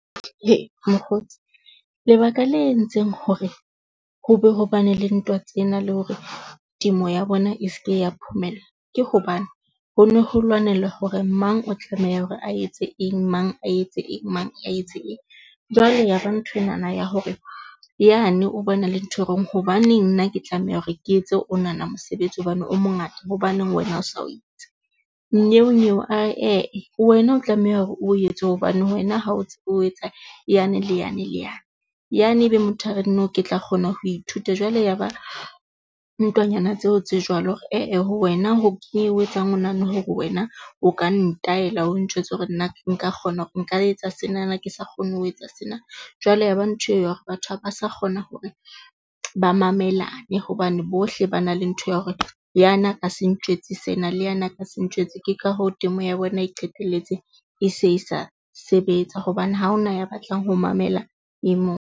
Mokgotsi lebaka le entseng hore ho be hobane le ntwa tsena le hore temo ya bona e se ke ya phumella, ke hobane ho ne ho lwanela hore mang o tlameha hore a etse eng, mang, a etse eng, mang a etse. Jwale ya ba nho enana ya hore yane o bona le ntho e hore hobaneng nna ke tlameha hore ke etse onana mosebetsi hobane o mongata. Hobaneng wena o sa o etse? Nnyeo nyeo a re wena o tlameha hore o etse hobane wena ha o tsebe ho etsa yane le yane le yane. Yane ebe motho a re no, ke tla kgona ho ithuta. Jwale ya ba ntwanyana tseo tse jwalo hore eh-eh wena ke eng e etsang o nahane hore wena o ka ntayela o njwetse hore nna nka kgona hore nka etsa sena nna ke sa kgone ho etsa sena? Jwale ya ba ntho e hore batho haba sa kgona hore ba mamelane hobane bohle ba na le ntho ya hore. Yana a ka se ntjwetse sena le yana ka se ntjwetse. Ke ka hoo temo ya bona e qetelletse e se sa sebetsa hobane ha ho na ya batlang ho mamela e mong.